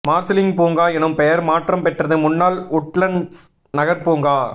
Marsiling பூங்கா எனும் பெயர் மாற்றம் பெற்றது முன்னாள் உட்லண்ட்ஸ் நகர்பூங்கா